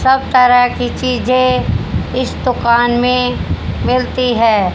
सब तरह की चीजे इस दुकान में मिलती है।